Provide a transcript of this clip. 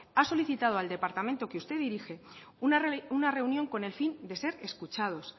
ha solicitado al departamento que usted dirige una reunión con el fin de ser escuchados